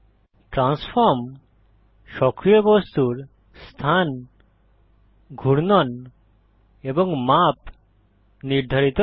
transform সক্রিয় বস্তুর স্থান ঘূর্ণন এবং মাপ নির্ধারিত করে